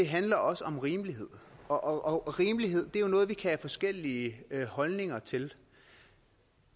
handler også om rimelighed og rimelighed er noget vi kan have forskellige holdninger til